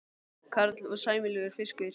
Karl: Og sæmilegur fiskur?